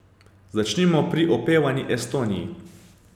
Začnimo pri opevani Estoniji.